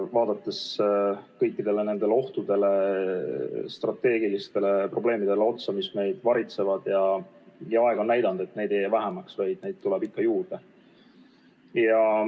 Vaadates otsa kõikidele ohtudele ja strateegilistele probleemidele, mis meid varitsevad, on aeg näidanud, et neid ei jää vähemaks, vaid tuleb ikka juurde.